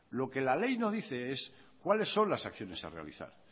lo que la ley no dice es cuáles son las acciones a realizar